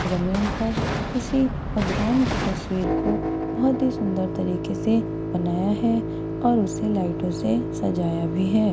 जमीन पर किसी भगवान की तसवीर को बहुत ही सुंदर तरीके से बनाया है और उसे लाइटो से सजाया भी है।